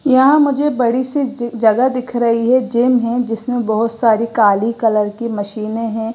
यह मुझे बड़ी सी जगह दिख रही है जिम है जिसमें बहोत सारी काली कलर की मशीने हैं।